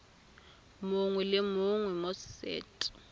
mongwe le mongwe mo set